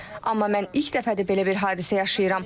Amma mən ilk dəfədir belə bir hadisə yaşayıram.